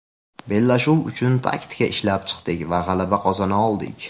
Bellashuv uchun taktika ishlab chiqdik va g‘alaba qozona oldik.